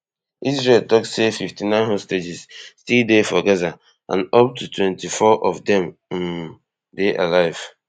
israel tok say fifty-nine hostages still dey for gaza and up to twenty-four of dem um dey alive